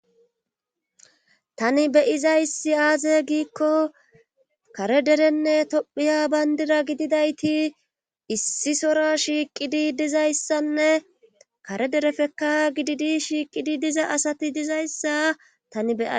Tani beuizayssi aazegiikko kare derenne tophiya banddira gididayti issi sora shiiqidi dizayti kare dereppeka giidi shiiqidi disza asati dizayssa tan be